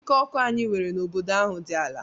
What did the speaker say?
Ike ọkụ anyị nwere n'obodo ahụ dị ala.